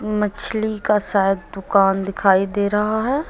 मछली का शायद दुकान दिखाई दे रहा है।